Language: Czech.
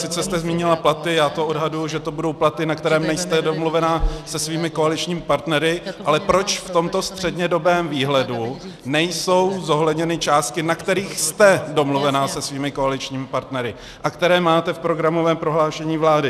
Sice jste zmínila platy, já to odhaduji, že to budou platy, na kterých nejste domluvena se svými koaličními partnery, ale proč v tomto střednědobém výhledu nejsou zohledněny částky, na kterých jste domluvena se svými koaličními partnery a které máte v programovém prohlášení vlády?